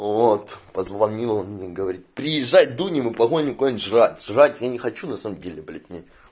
вот позвонила мне и говорит приезжай дунем и погоним куда-нибудь жрать жрать не хочу на самом деле блять мне